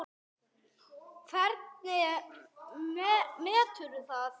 Hvernig meturðu það?